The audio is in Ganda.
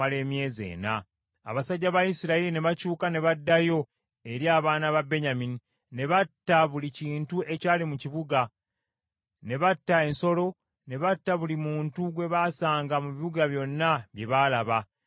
Abasajja ba Isirayiri ne bakyuka ne baddayo eri abaana ba Benyamini ne batta buli kintu ekyali mu kibuga, ne batta ensolo, ne batta buli muntu gwe baasanga mu bibuga byonna bye baalaba, ne babikumako omuliro.